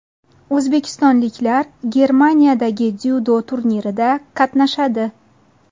O‘zbekistonliklar Germaniyadagi dzyudo turnirida qatnashadi.